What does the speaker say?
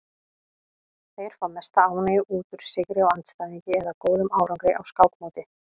Þeir fá mesta ánægju út úr sigri á andstæðingi eða góðum árangri á skákmóti.